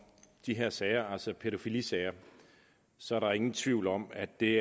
de her sager altså pædofilisager så er der ingen tvivl om at det